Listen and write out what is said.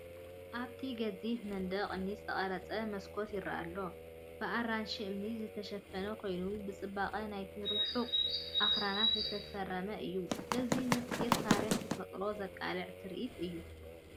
ኣብቲ ገዚፍ መንደቕ እምኒ ዝተቐርጸ መስኮት ይረአ ኣሎ። ብኣራንሺ እምኒ ዝተሸፈነ ኮይኑ ብጽባቐ ናይቲ ርሑቕ ኣኽራን ዝተፈረመ እዩ። እዚ ምስጢር ታሪኽን ተፈጥሮን ዘቃልዕ ትርኢት እዩ።